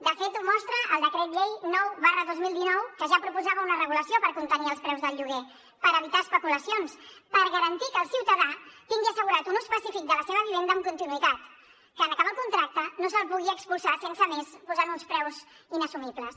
de fet ho mostra el decret llei nou dos mil dinou que ja proposava una regulació per contenir els preus del lloguer per evitar especulacions per garantir que el ciutadà tingui assegurat un ús pacífic de la seva vivenda amb continuïtat que en acabar el contracte no se’l pugui expulsar sense més posant uns preus inassumibles